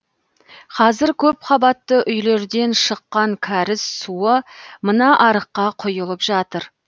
қазір көпқабатты үйлерден шыққан кәріз суы мына арыққа құйылып жатыр